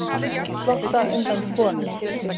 Á flótta undan konum